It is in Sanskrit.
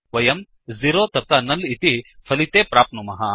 वयम् झेरो तथा नुल् इति फलिते प्राप्नुमः